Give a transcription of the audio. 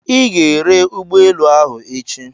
Ị ga-ere ụgbọelu ahụ echi!